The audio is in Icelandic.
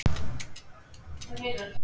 Hanna María.